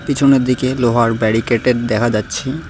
পিছনের দিকে লোহার ব্যারিকেড -এর দেখা যাচ্ছে।